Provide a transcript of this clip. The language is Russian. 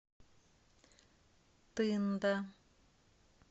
тында